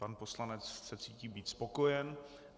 Pan poslanec se cítí být spokojen.